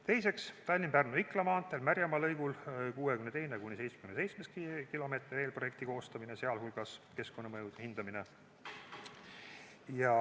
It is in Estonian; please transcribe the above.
Teiseks, Tallinna–Pärnu–Ikla maantee Märjamaa lõigul 62.–77. kilomeetri eelprojekti koostamine, sh keskkonnamõjude hindamine.